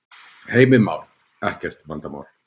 Heimir Már: Ekkert vandamál?